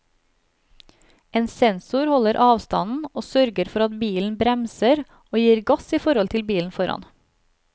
En sensor holder avstanden og sørger for at bilen bremser og gir gass i forhold til bilen foran.